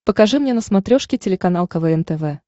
покажи мне на смотрешке телеканал квн тв